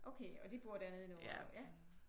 Okay og de bor dernede endnu?